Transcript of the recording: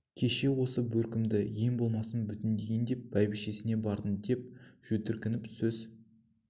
кеше осы бөркімді ең болмаса бүтін дейін деп бәйбішесіне бардым деп жөткірініп сөз